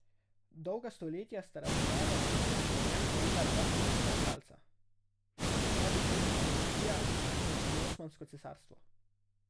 Dolga stoletja sta razmere na njem krojila dva ključna igralca, habsburška monarhija in Osmansko cesarstvo.